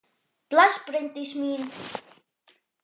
Bless, Bryndís mín!